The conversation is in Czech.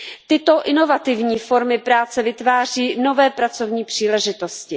Tyto inovativní formy práce vytváří nové pracovní příležitosti.